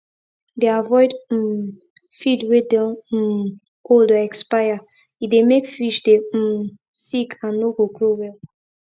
dey avoid um feed wey don um old or expire e dey make fish dey um sick and no go grow well